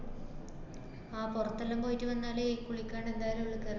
ആഹ് പുറത്തെല്ലാം പോയിട്ട് വന്നാലേ കുളിക്കാണ്ട് എന്തായാലും ഉള്ളില് കേറൂ.